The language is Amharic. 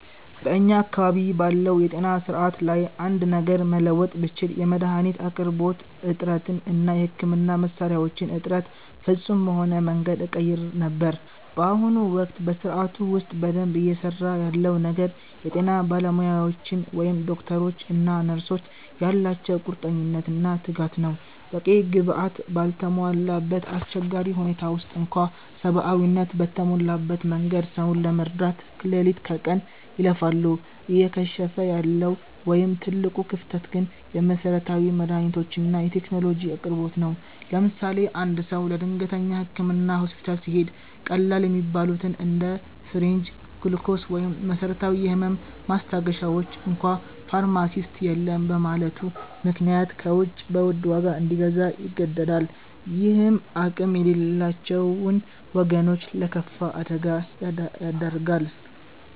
በእኛ አካባቢ ባለው የጤና ሥርዓት ላይ አንድ ነገር መለወጥ ብችል፣ የመድኃኒት አቅርቦት እጥረትን እና የሕክምና መሣሪያዎችን እጥረት ፍጹም በሆነ መንገድ እቀይር ነበር። በአሁኑ ወቅት በሥርዓቱ ውስጥ በደንብ እየሠራ ያለው ነገር የጤና ባለሙያዎቻችን (ዶክተሮች እና ነርሶች) ያላቸው ቁርጠኝነትና ትጋት ነው። በቂ ግብዓት ባልተሟላበት አስቸጋሪ ሁኔታ ውስጥ እንኳ ሰብአዊነት በተሞላበት መንገድ ሰውን ለመርዳት ሌሊት ከቀን ይለፋሉ። እየከሸፈ ያለው ወይም ትልቁ ክፍተት ግን የመሠረታዊ መድኃኒቶችና የቴክኖሎጂ አቅርቦት ነው። ለምሳሌ፦ አንድ ሰው ለድንገተኛ ሕክምና ሆስፒታል ሲሄድ፣ ቀላል የሚባሉትን እንደ ሲሪንጅ፣ ግሉኮስ ወይም መሰረታዊ የህመም ማስታገሻዎችን እንኳ ፋርማሲስት የለም በማለቱ ምክንያት ከውጭ በውድ ዋጋ እንዲገዛ ይገደዳል። ይህም አቅም የሌላቸውን ወገኖች ለከፋ አደጋ ይዳርጋል።